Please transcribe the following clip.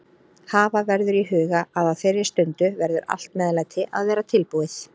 Hafa verður í huga að á þeirri stundu verður allt meðlæti að vera tilbúið.